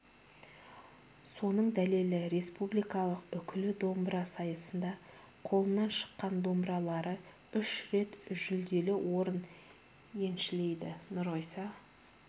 соның дәлелі республикалық үкілі домбыра сайысында қолынан шыққан домбыралары үш рет жүлделі орын еншілейді нұрғиса